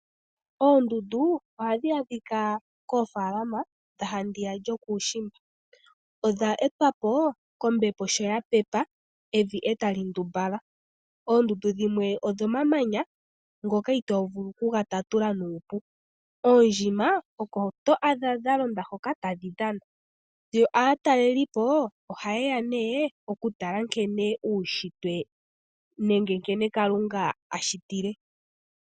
Oondundu ohadhi adhika koofaalama dha handiya yokuushimba. Odha etwa po kombepo sho ya pepe, evi e tali ndumbala. Oondundu dhimwe odhomamanya, ngoka itoo vulu okuga tatula nuupu. Oondjima oko to adha dha londa hoka tadhi dhana, yo aatalelipo ohaye ya nduno okutala nkene uunshitwe nenge nkene Kalunga a shitile.